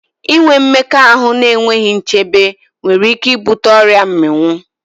Inwe mmekọahụ n'enweghi nchebe nwere ike i bute ọrịa mmịnwụ